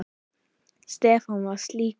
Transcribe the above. Stefán var slíkur.